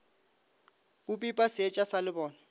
bo pipa seetša sa lebone